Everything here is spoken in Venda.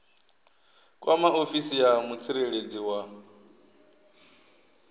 kwama ofisi ya mutsireledzi wa